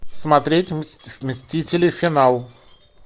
смотреть мстители финал